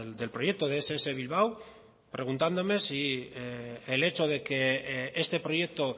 del proyecto de ess bilbao preguntándome si el hecho de que este proyecto